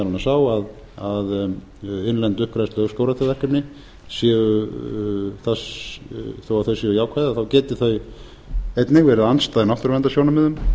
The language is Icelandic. annars á að innlend uppgræðslu á skógræktarverkefni þó þau séu jákvæð þá geti þau einnig verið andstæð náttúruverndarsjónarmiðum